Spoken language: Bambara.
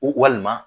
Walima